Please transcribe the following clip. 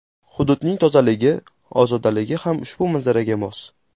Hududning tozaligi, ozodaligi ham ushbu manzaraga mos.